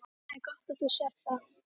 Það er gott að þú sérð það.